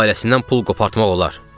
Ailəsindən pul qopartmaq olar.